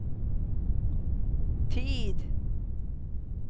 tid